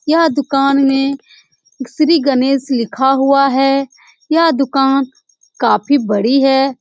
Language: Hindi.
यह दुकान में श्री गणेश लिखा हुआ है यह दुकान काफी बड़ी है।